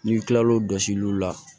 N'i kilal'o jɔsiliw la